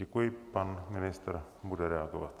Děkuji, pan ministr bude reagovat.